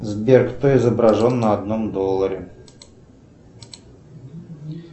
сбер кто изображен на одном долларе